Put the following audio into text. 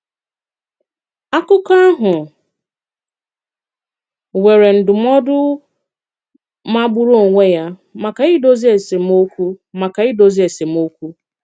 Akụ̀kọ̀ áhụ nwèrè ndụ̀mọdụ magburu onwé ya maka idozi esemọ̀kụ. maka idozi esemọ̀kụ.